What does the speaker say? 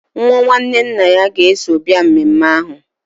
Nwa nwanne nna ya ga-eso bịa mmemme ahụ.